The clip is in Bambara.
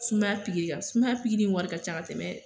Sumaya pikiri sumaya pikiri in wari ka ca ka tɛmɛ.